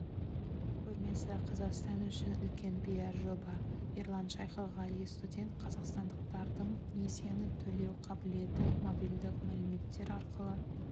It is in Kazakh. көрмесі қазақстан үшін үлкен пиар жоба ерлан шайхығали студент қазақстандықтардың несиені төлеу қабілеті мобильдік мәліметтер арқылы